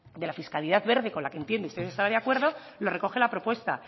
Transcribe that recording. de la fiscalidad verde con la que entiendo que usted estará de acuerdo lo recoge la propuesta